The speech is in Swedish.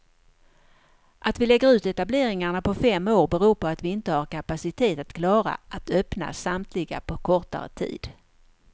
Att vi lägger ut etableringarna på fem år beror på att vi inte har kapacitet att klara att öppna samtliga på kortare tid.